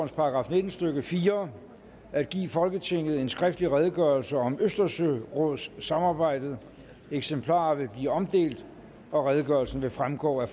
§ nitten stykke fire at give folketinget en skriftlig redegørelse om østersørådssamarbejdet eksemplarer vil blive omdelt og redegørelsen vil fremgå af